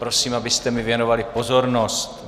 Prosím, abyste mi věnovali pozornost.